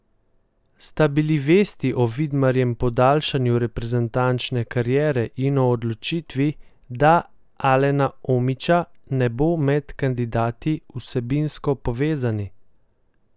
Sta bili vesti o Vidmarjem podaljšanju reprezentančne kariere in o odločitvi, da Alena Omića ne bo med kandidati, vsebinsko povezani?